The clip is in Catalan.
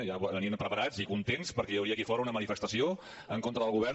ja venien preparats i contents perquè hi hauria aquí fora una manifestació en contra del govern